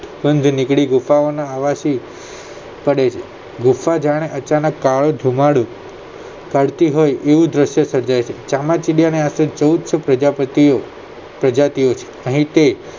બંધ નીકળી ગુફાઓ ના અવાજ થી પડે છે ગુફા જાણે અચાનક કાળો ધુમાડો પાડતી હોય એવું દ્રશ્ય સર્જાય છે ચામાચીડિયાની આશરે ચૌદસો પ્રજાપતિઓ પ્રજાતિઓ છે અહીં તે